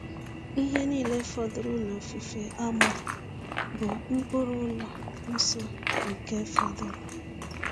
Ihe niile fọdụrụ n’ofufe Amọn bụ mkpụrụ ụlọ nsọ nke fọdụrụ.